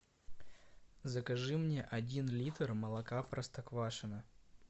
закажи мне один литр молока простоквашино